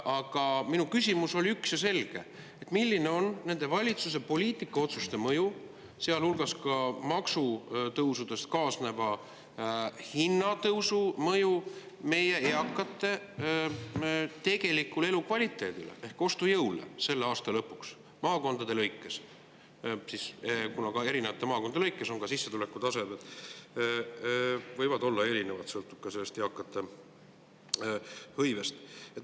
Aga minu küsimus oli üks ja selge: milline on valitsuse poliitika ja nende otsuste mõju, sealhulgas ka maksutõusudega kaasneva hinnatõusu mõju meie eakate tegelikule elukvaliteedile ehk ostujõule selle aasta lõpuks maakondade lõikes, kuna ka erinevate maakondade lõikes võib sissetulekute tase olla erinev sõltuvalt eakate hõivest?